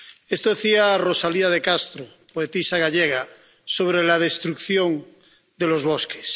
Esto decía Rosalía de Castro, poetisa gallega sobre la destrucción de los bosques.